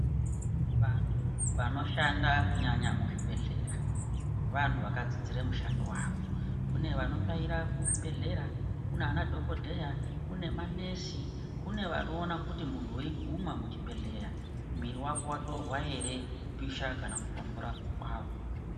Vantu vanoshanda kunyanya muzvibhedhlera vantu vakadzidzira mishando yawo kune vanotsvaira muzvibhedhlera vana dhokodheya kune manesi anoona kuti muntu weiguma muzvibhedhlera mwiri wako hre kupisha kana kutonhora.